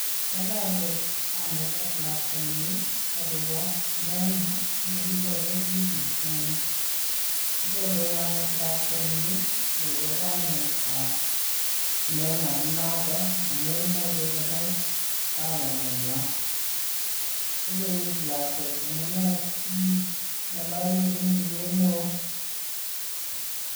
Ng'ololdos kamet ak lakwenyin agobo Neema nekikoker wikit konye, kateben kamet lakwenyin agobo kainetab Neema inoton amun moche konai babanenyuan. Kolei lakwet amune sing'ololi en tuget neo.